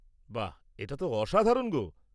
-বাহ!, এটা তো অসাধারণ গো।